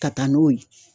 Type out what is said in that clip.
Ka taa n'o ye